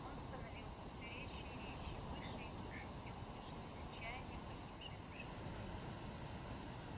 он становился все резче и резче выше и выше в нем слышалось отчаяние погибшей души